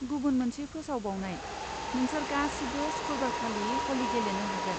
गुबुन मोनसे फोसावबावनाय, नोंसोर गासिबो सुखुरबारखालि ह'लि गेलेनो हागोन।